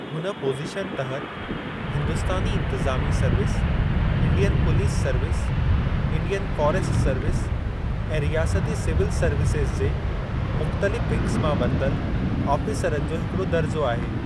हुन पोज़ीशन तहत, हिंदूस्तानी इन्तिज़ामी service, Indian police service, Indian forest service ऐं रियासती सिविल सर्विसिज़ जे मुख़्तलिफ़ विग्ज़ मां वरतल आफ़ीसरनि जो हिकड़ो दर्जो आहे।